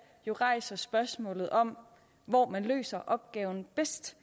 jo rejser spørgsmålet om hvor man løser opgaven bedst